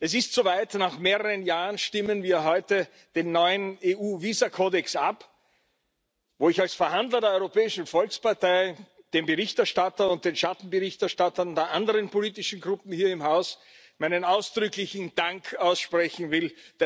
Es ist soweit Nach mehreren Jahren stimmen wir heute über den neuen EU Visakodex ab, wo ich als Verhandler der Europäischen Volkspartei dem Berichterstatter und den Schattenberichterstattern der anderen Fraktionen hier im Haus meinen ausdrücklichen Dank aussprechen will.